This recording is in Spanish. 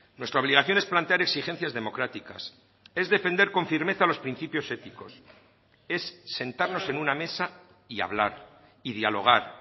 nuestra obligación es plantear exigencias democráticas es defender con firmeza los principios éticos es sentarnos en una mesa y hablar y dialogar